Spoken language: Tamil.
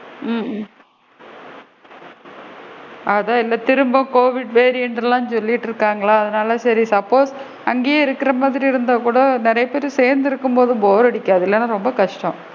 ஹம் அதான் திரும்ப COVID variant லா சொல்லிட்டு இருக்காங்களா? அதான் சேரி suppose அங்கேயே இருக்கிற மாதிரி இருந்தா கூட நிறைய பேரு சேர்ந்து இருக்கும் போது போர் அடிக்காதுல இல்லன்னா ரொம்ப கஸ்டம்.